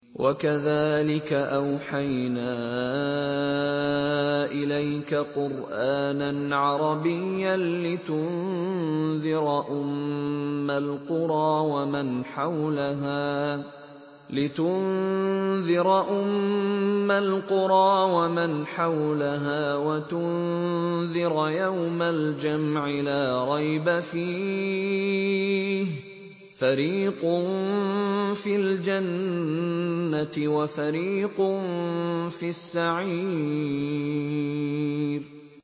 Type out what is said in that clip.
وَكَذَٰلِكَ أَوْحَيْنَا إِلَيْكَ قُرْآنًا عَرَبِيًّا لِّتُنذِرَ أُمَّ الْقُرَىٰ وَمَنْ حَوْلَهَا وَتُنذِرَ يَوْمَ الْجَمْعِ لَا رَيْبَ فِيهِ ۚ فَرِيقٌ فِي الْجَنَّةِ وَفَرِيقٌ فِي السَّعِيرِ